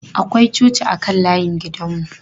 Akwai coci a kan layin gidan mu.